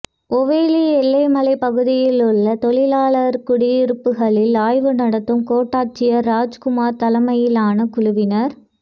ஓவேலி எல்லமலை பகுதியில் உள்ள தொழிலாளா் குடியிருப்புகளில் ஆய்வு நடத்தும் கோட்டாட்சியா் ராஜ்குமாா் தலைமையிலான குழுவினா்